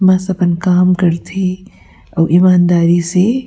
बस अपन काम करथे आऊ ईमानदारी से--